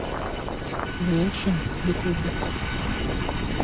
реакшн литл биг